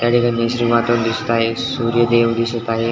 याठिकाणी नैसर्गिक वातावरण दिसत आहे सूर्य देव दिसत आहे.